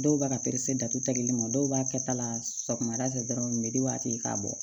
Dɔw b'a ka datuguli ma dɔw b'a kɛ ta la sɔgɔmada fɛ dɔrɔn u be di a tigi ye k'a bɔ